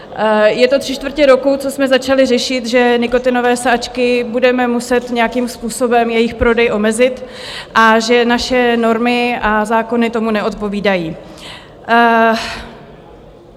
Je to tři čtvrtě roku, co jsme začali řešit, že nikotinové sáčky budeme muset nějakým způsobem - jejich prodej - omezit a že naše normy a zákony tomu neodpovídají.